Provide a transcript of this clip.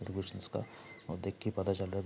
का और देख की पता चल रहा --